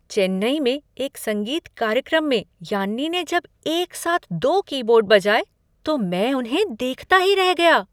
चेन्नई में एक संगीत कार्यक्रम में यान्नी ने जब एक साथ दो कीबोर्ड बजाए तो मैं उन्हें देखता ही रह गया।